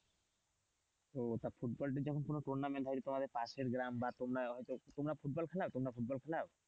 ও football যখন কোন tournament হয় তোমাদের পাশের গ্রাম বা তোমরা হয়তো তোমরা ফুটবল খেলাও ফুটবল খেলাও?